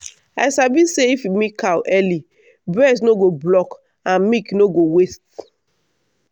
i sabi say if you milk cow early breast no go block and milk no no go waste.